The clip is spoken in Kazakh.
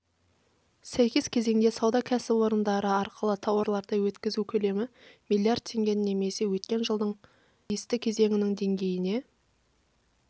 сәйкес кезеңде сауда кәсіпорындары арқылы тауарларды өткізу көлемі млрд теңгені немесе өткен жылдың тиісті кезеңінің деңгейіне